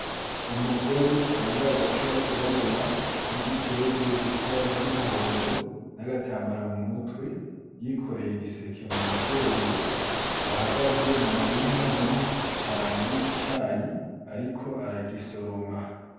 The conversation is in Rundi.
Umugore yambaye agapira kirabura n'igitenge gifise ibara ry'umuhondo n'agatambara mu mutwe yikoreye igiseke mu mugongo, ahagaze mu murima munini cane w'icayi ariko aragisoroma .